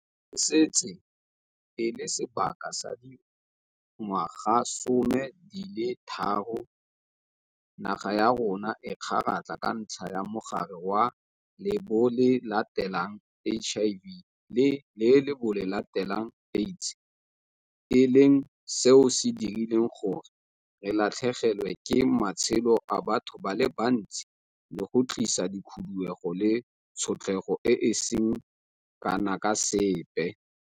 E setse e le sebaka sa dingwagasome di le tharo naga ya rona e kgaratlha ka ntlha ya Mogare wa Lebolelateng, HIV, le Lebolelateng, AIDS, e leng seo se dirileng gore re latlhegelwe ke matshelo a batho ba le bantsi le go tlisa dikhuduego le tshotlego e e seng kana ka sepe.